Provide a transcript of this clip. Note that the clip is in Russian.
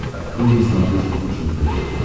открой на смотрешке фэшен тв